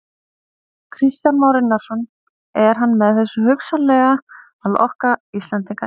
Kristján Már Unnarsson: Er hann með þessu hugsanlega að lokka Íslendinga inn?